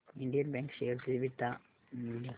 Indian bank share चे beta मूल्य